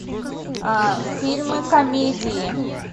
фильмы комедии